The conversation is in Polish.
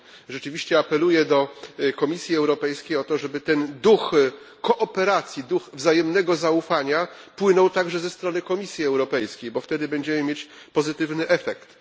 I rzeczywiście apeluję do Komisji Europejskiej o to, żeby ten duch kooperacji, duch wzajemnego zaufania płynął także ze strony Komisji Europejskiej, bo wtedy będziemy mieć pozytywny efekt.